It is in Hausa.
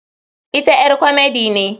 Ita ƴar komedi ne.